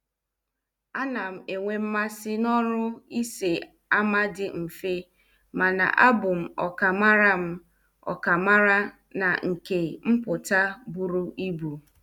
A nam enwe mmasị n' ọrụ ise ama dị mfe, mana abụ m okamara m okamara n' nke mpụta bụrụ ibu.